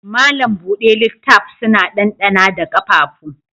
Malam buɗe littaf suna dandana da ƙafafu